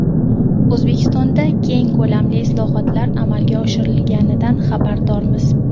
O‘zbekistonda keng ko‘lamli islohotlar amalga oshirilganidan xabardormiz.